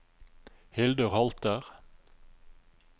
Hildur Holter